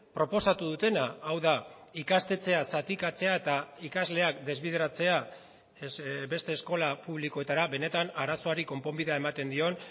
proposatu dutena hau da ikastetxea zatikatzea eta ikasleak desbideratzea beste eskola publikoetara benetan arazoari konponbidea ematen dion